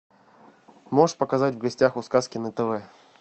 можешь показать в гостях у сказки на тв